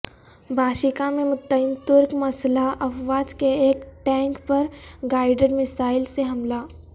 Bashiqa میں متعین ترک مسلح افواج کے ایک ٹینک پر گائیڈڈ میزائل سے حملہ